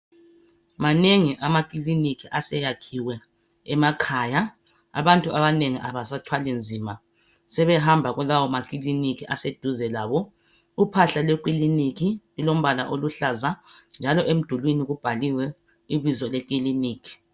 Manengi amakiliniki aseyakhiwe emakhaya. Abantu abanengi abasathwali nzima. Sebehamba kulawo makiliniki aseduze labo. Uphahla lwekiliniki lulombala oluhlaza njalo emdulwini kubhaliwe ibizo lekilinika.